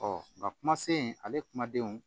nka kuma se in ale kumadenw